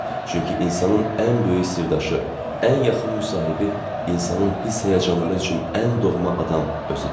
Çünki insanın ən böyük sirdaşı, ən yaxın müsahibi, insanın hiss-həyəcanları üçün ən doğma adam özüdür.